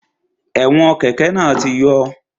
Ẹ̀wọn kẹ́kẹ̀ náà ti yọ